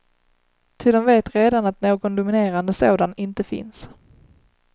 Ty de vet redan att någon dominerande sådan inte finns.